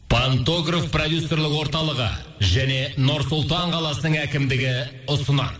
пантогроф продюсерлік орталығы және нұр сұлтан қаласының әкімдігі ұсынады